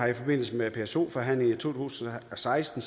i forbindelse med pso forhandlingerne tusind og seksten